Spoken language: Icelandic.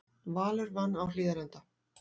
Valur vann á Hlíðarenda